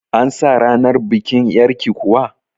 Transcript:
An sa ranar bikin yar'ki kuwa?